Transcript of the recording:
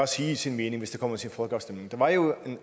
sige sin mening hvis det kommer til en folkeafstemning der var jo